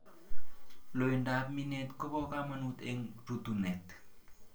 Loindab miinet kobo kaamanut en rutuunet